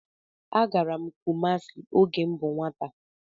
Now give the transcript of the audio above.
Agara m Kumasi oge m bú nwata.